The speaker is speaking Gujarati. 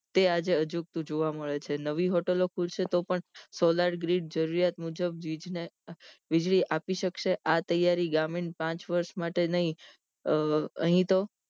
તે આજ આજુકતું જોવા મળે છે નવી હોટલો ખુલશે તો પણ solar green જરૂરિયાત મુજબ વીજ ને વીજળી આપી શકશે આ તૈયારી ગ્રામીણ પાંચ વર્ષ માટે નહિ અહીતો